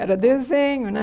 Era desenho, né?